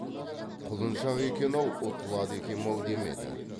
құлыншақ екен ау ұтылады екем ау демеді